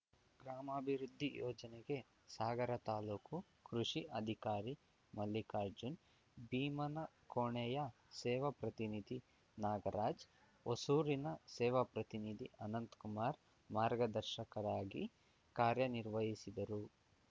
ಗ್ರಾಮಾಭಿವೃದ್ಧಿ ಯೋಜನೆಗೆ ಸಾಗರ ತಾಲೂಕು ಕೃಷಿ ಅಧಿಕಾರಿ ಮಲ್ಲಿಕಾರ್ಜುನ್ ಭೀಮನಕೋಣೆಯ ಸೇವಾ ಪ್ರತಿನಿಧಿ ನಾಗರಾಜ್‌ ಹೊಸೂರಿನ ಸೇವಾ ಪ್ರತಿನಿಧಿ ಅನಂತ್ ಕುಮಾರ ಮಾರ್ಗದರ್ಶಕರಾಗಿ ಕಾರ್ಯ ನಿರ್ವಹಿಸಿದರು